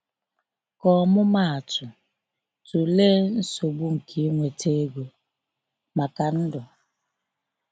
Ka ọmụmaatụ, tụlee nsogbu nke inweta ego maka ndụ.